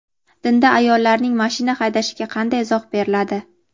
Dinda ayollarning mashina haydashiga qanday izoh beriladi?.